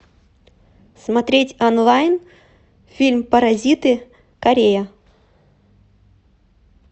смотреть онлайн фильм паразиты корея